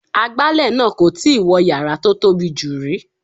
Agbálẹ̀ náà kò tíì wọ yàrá tó tóbi jù rí.